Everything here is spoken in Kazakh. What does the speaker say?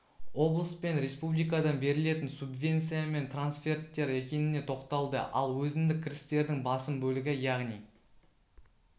облыс пен республикадан берілетін субвенция мен трансферттер екеніне тоқталды ал өзіндік кірістердің басым бөлігі яғни